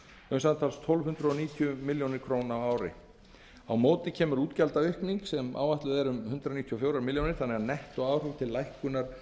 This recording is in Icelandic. um samtals tólf hundruð níutíu milljónir króna á ársgrundvelli á móti kemur útgjaldaaukning sem áætluð er um hundrað níutíu og fjórar milljónir króna þannig að nettóáhrif til lækkunar